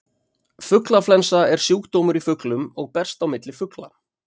fuglaflensa er sjúkdómur í fuglum og berst á milli fugla